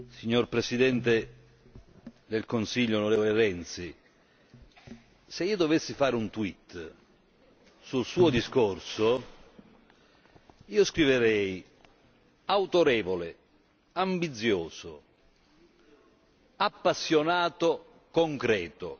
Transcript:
Signor Presidente del Consiglio, Matteo Renzi, se io dovessi fare un sul suo discorso, scriverei autorevole, ambizioso, appassionato, concreto.